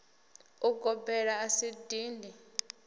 u gobela a si dindi